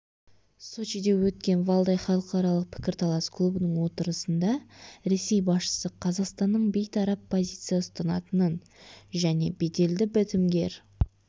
сочиде өткен валдай халықаралық пікірталас клубының отырысында ресей басшысы қазақстанның бейтарап позиция ұстанатынын және беделді бітімгер